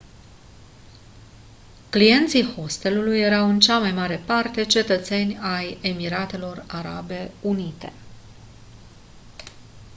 clienții hostelului erau în cea mai mare parte cetățeni ai emiratelor arabe unite